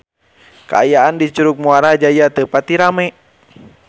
Kaayaan di Curug Muara Jaya teu pati rame